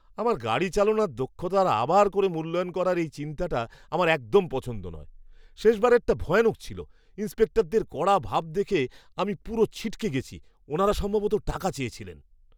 আমার গাড়ি চালানোর দক্ষতার আবার করে মূল্যায়ন করার এই চিন্তাটা আমার একদম পছন্দ নয়। শেষবারেরটা ভয়ানক ছিল! ইন্সপেক্টরদের কড়া ভাব দেখে আমি পুরো ছিটকে গেছি, ওনারা সম্ভবত টাকা চেয়েছিলেন!